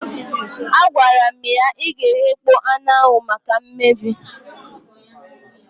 Agwara m ya, ị ga-eghekpọ anụ ahụ maka mmebi